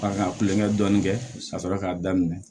A ka kulonkɛ dɔɔni kɛ ka sɔrɔ k'a daminɛ